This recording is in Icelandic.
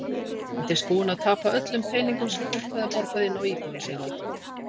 Hann reyndist búinn að tapa öllum peningum sem fólk hafði borgað inn á íbúðir sínar.